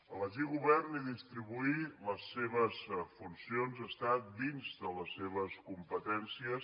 elegir govern i distribuir les seves funcions està dins de les seves competències